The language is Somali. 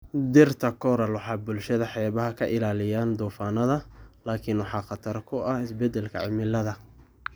Dhirta Coral waxay bulshada xeebaha ka ilaaliyaan duufaannada, laakiin waxaa khatar ku ah isbeddelka cimilada.